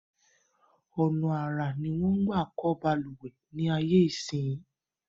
Ọ̀nà àrà ni wọ́n ń gbà kọ̀ balùwẹ̀ ní ayé ìsinyìí